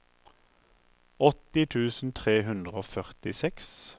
åtti tusen tre hundre og førtiseks